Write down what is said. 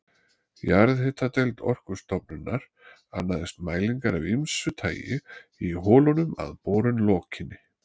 Jarðhitadeild Orkustofnunar annaðist mælingar af ýmsu tagi í holunum að borun lokinni.